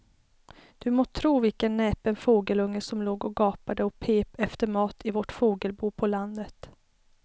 Du må tro vilken näpen fågelunge som låg och gapade och pep efter mat i vårt fågelbo på landet.